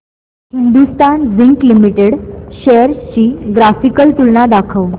Hindustan zinc limited shares ची graphical तुलना दाखव